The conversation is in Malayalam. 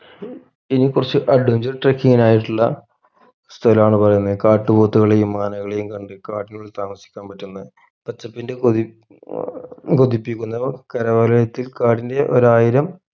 ഇനി കുറച്ച് adventure trucking നായിട്ടുള്ള സ്ഥലമാണ് പറയുന്നത് കാട്ടുപോത്തുകളെയും ആനകളെയും കണ്ട് കാട്ടിനുള്ളിൽ താമസിക്കാൻ പറ്റുന്ന പച്ചപ്പിന്റെ കൊതി അഹ് കൊതിപ്പിക്കുന്ന കര variety കാടിന്റെ ഒരായിരം